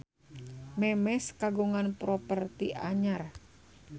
Memes kagungan properti anyar